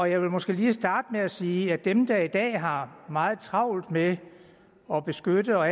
jeg vil måske lige starte med at sige at dem der i dag har meget travlt med at beskytte og